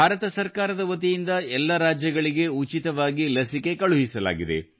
ಭಾರತ ಸರ್ಕಾರದ ವತಿಯಿಂದ ಎಲ್ಲ ರಾಜ್ಯಗಳಿಗೆ ಉಚಿತವಾಗಿ ಲಸಿಕೆ ಕಳುಹಿಸಲಾಗಿದೆ